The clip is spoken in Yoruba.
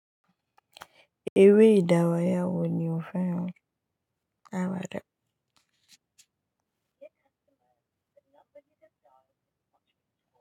Eré ìdàraya wò ni o fẹ́ràn? Àwàdà.